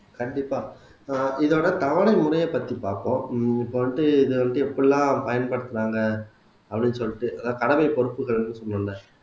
கண்டிப்பா ஆஹ் இதோட தவணை முறைய பத்தி பார்ப்போம் உம் இப்ப வந்துட்டு இத வந்து எப்படி எல்லாம் பயன்படுத்துனாங்க அப்படின்னு சொல்லிட்டு அதாவது தலமை பொறுப்புகள்ன்னு சொன்னன்ல